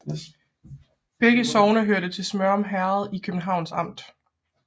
Begge sogne hørte til Smørum Herred i Københavns Amt